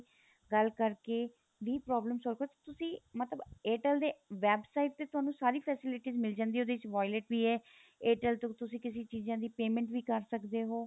ਗੱਲ ਕਰਕੇ ਵੀ problem solve ਕ਼ਰ ਤੁਸੀਂ ਮਤਲਬ Airtel ਦੇ website ਤੇ ਤੁਹਾਨੂੰ ਸਾਰੀ facilities ਮਿਲ ਜਾਂਦੀ ਏ ਉਹਦੇ ਚ violet ਵੀ ਏ Airtel ਤੋਂ ਤੁਸੀਂ ਕਿਸੇ ਚੀਜ਼ਾ ਦੀ payment ਵੀ ਕ਼ਰ ਸਕਦੇ ਹੋ